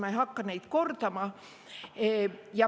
Ma ei hakka seda kordama.